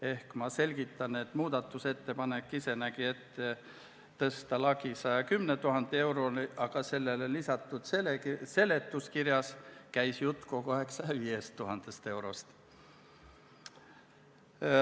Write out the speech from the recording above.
Ehk muudatusettepanek ise nägi ette tõsta lagi 110 000 euroni, aga sellele lisatud seletuskirjas käis jutt kogu aeg 105 000 eurost.